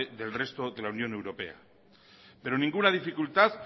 del resto de la unión europea pero ninguna dificultad